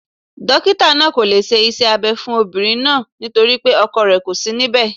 Dokita naa ko le se ise Abe fun Obinrin naa naa ;nitori pe ọkọ rẹ ko si níbè